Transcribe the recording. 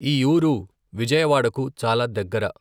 ఈ ఊరు విజయవాడకు చాలా దగ్గర.